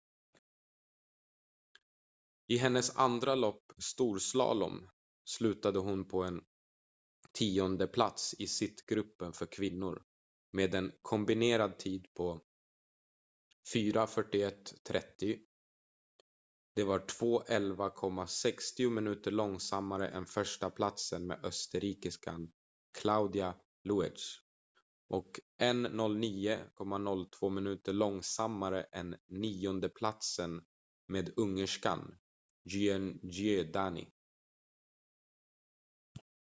i hennes andra lopp storslalom slutade hon på en tiondeplats i sittgruppen för kvinnor med en kombinerad tid på 4:41,30. det var 2:11,60 minuter långsammare än förstaplatsen med österrikiskan claudia loesch och 1:09.02 minuter långsammare än niondeplatsen med ungerskan gyöngyi dani